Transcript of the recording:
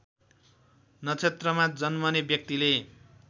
नक्षत्रमा जन्मने व्यक्तिले